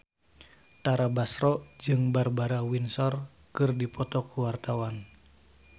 Tara Basro jeung Barbara Windsor keur dipoto ku wartawan